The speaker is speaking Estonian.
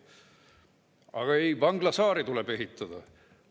Aga ei, vanglasaari tuleb ehitada.